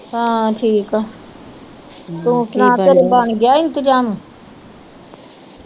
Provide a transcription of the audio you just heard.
ਹਾਂ ਠੀਕ ਆ। ਤੂੰ ਸੁਣਾ ਘਰੇ ਬਣਗਿਆ ਇੰਤਜ਼ਾਮ